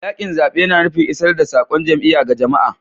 Yakin zabe na nufin isar da saƙon jam'iyya ga jama'a.